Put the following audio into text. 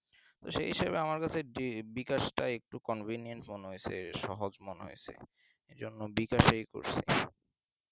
তো সেই হিসেবে আমার কাছে বি বিকাশটায় আমার Convenience মনে হচ্ছে সহজ মনে হয়েছে এজন্য বিকাশেই করেছি